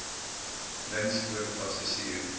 links voor passasier